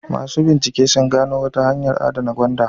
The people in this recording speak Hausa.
Masu bincike sun gano wata hanyar adana gwanda.